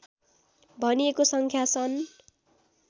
भनिएको सङ्ख्या सन्